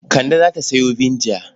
Kande za ta sayo vinegar.